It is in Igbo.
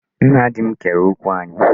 Nna di m kere okwu anyị.